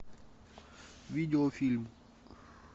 видеофильм